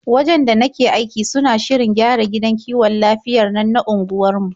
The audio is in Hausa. Wajen da nake aiki suna shirin gyara gidan kiwon lafiyar nan na unguwarmu.